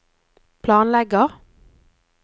planlegger